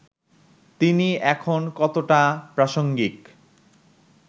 তিনি এখন কতটা প্রাসঙ্গিক